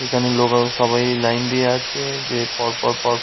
এখানে লোকেরা সবাই লাইন দিয়ে আছে যে পরপর পর--